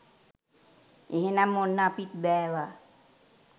එහෙනම් ඔන්න අපිත් බෑවා